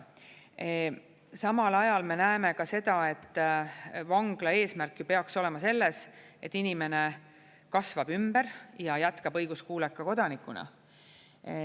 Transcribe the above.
Samal ajal me näeme ka seda, et vangla eesmärk ju peaks olema selles, et inimene kasvab ümber ja jätkab õiguskuuleka kodanikuna.